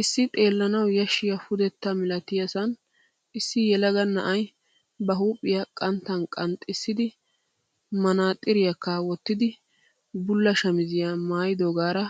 Issi xeellanawu yashshiya pudetta malatiyasaan issi yelaga na'ay ba huuphphiya qanttan qanxxissidi maxaaxxiriyakka wottidi bulla shamizziya maayidoogaara